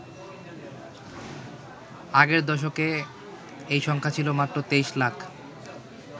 আগের দশকে এই সংখ্যা ছিল মাত্র ২৩ লাখ।